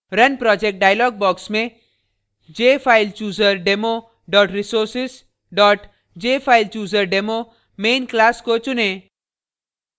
run project dialog box में jfilechooserdemo resources jfilechooserdemo main class को चुनें